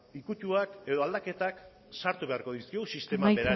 ukituak edo aldaketak sartu beharko dizkiogu sistema berari